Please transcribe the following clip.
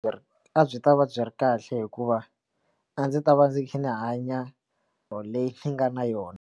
A byi ta va byi ri kahle hikuva a ndzi ta va ndzi kha ndzi hanya or leyi ni nga na yona.